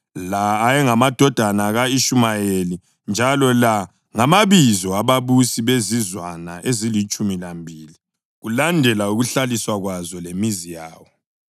La ayengamadodana ka-Ishumayeli, njalo la ngamabizo ababusi bezizwana ezilitshumi lambili kulandela ukuhlaliswa kwazo lemizi yawo.